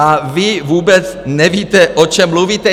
A vy vůbec nevíte, o čem mluvíte.